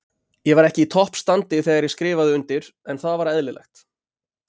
Ég var ekki í toppstandi þegar ég skrifaði undir, en það var eðlilegt.